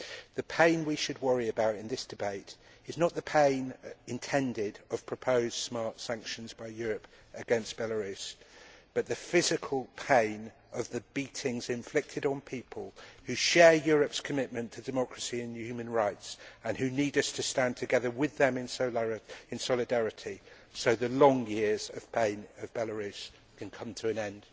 The pain we should worry about in this debate is not the pain intended of proposed smart sanctions by Europe against Belarus, but the physical pain of the beatings inflicted on people who share Europe's commitment to democracy and human rights and who need us to stand together with them in solidarity so that the long years of pain of Belarus can come to an end.